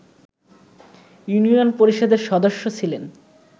union পরিষদের সদস্য ছিলেন